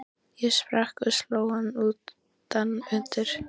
Ég sprakk og sló hann utan undir.